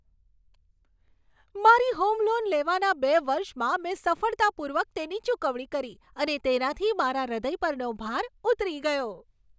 મારી home loan લેવાના બે વર્ષમાં મેં સફળતાપૂર્વક તેની ચૂકવણી કરી અને તેનાથી મારા હૃદય પરનો ભાર ઉતરી ગયો.